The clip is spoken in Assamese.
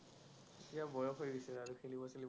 এতিয়া বয়স হৈ আহিছে